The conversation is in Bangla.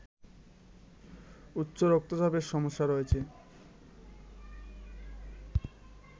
উচ্চ রক্তচাপের সমস্যা রয়েছে